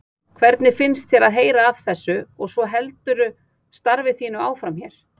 Hvernig fannst þér að heyra af þessu og svo heldurðu starfi þínu áfram hér?